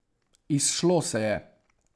Izšlo se je.